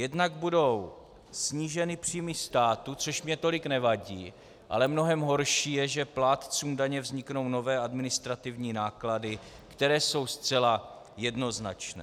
Jednak budou sníženy příjmy státu, což mně tolik nevadí, ale mnohem horší je, že plátcům daně vzniknou nové administrativní náklady, které jsou zcela jednoznačné.